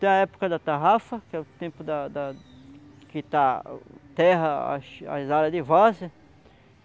Tem a época da tarrafa, que é o tempo da da que está a terra, as as áreas de varzea.